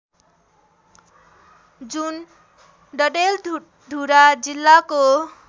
जुन डडेलधुरा जिल्लाको